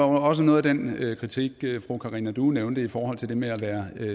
var også noget af den kritik fru karina due nævnte i forhold til det med at være